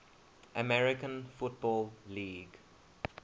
american football league